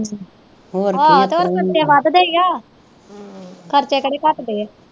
ਆਹ ਤੇ ਫੇਰ ਖਰਚੇ ਵੱਧ ਦੇ ਹੀ ਆ ਖਰਚੇ ਕੇਹੜੇ ਕੱਟ ਦੇ ਆ